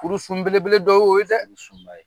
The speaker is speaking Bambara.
Kurusun belebele dɔ ye o ye dɛ.